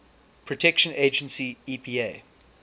protection agency epa